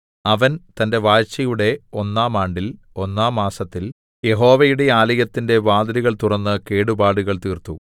അവൻ തന്റെ വാഴ്ചയുടെ ഒന്നാം ആണ്ടിൽ ഒന്നാം മാസത്തിൽ യഹോവയുടെ ആലയത്തിന്റെ വാതിലുകൾ തുറന്ന് കേടുപാടുകൾ തീർത്തു